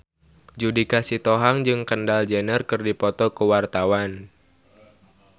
Judika Sitohang jeung Kendall Jenner keur dipoto ku wartawan